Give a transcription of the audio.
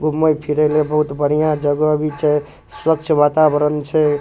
घूमे फिरे में बहुत बढ़िया जगह भी छै स्वच्छ वातावरण छै।